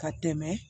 Ka tɛmɛ